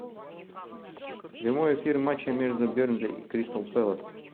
прямой эфир матча между бернли и кристал пэлас